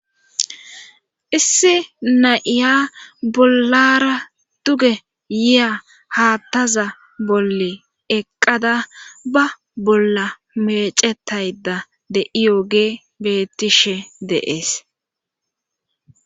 issi na7iya bollara duge yiya haattaza bolle eqqada ba bolla mecetayda de iyoge bettishe deees